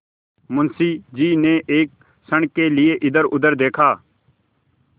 मुंशी जी ने एक क्षण के लिए इधरउधर देखा